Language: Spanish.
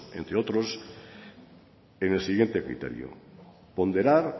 entre otros en el siguiente criterio ponderar